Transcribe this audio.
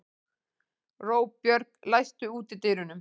Róbjörg, læstu útidyrunum.